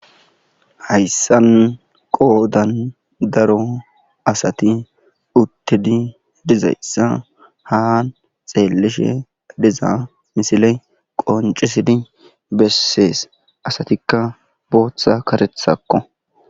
Hayssan qoodan daro asati uttidi dizayssa haa xeelishe diza misile qoncisidi bessees asatikka booththa karethakko.